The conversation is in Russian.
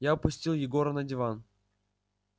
я опустил егора на диван